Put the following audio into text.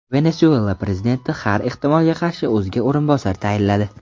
Venesuela prezidenti har ehtimolga qarshi o‘ziga o‘rinbosar tayinladi.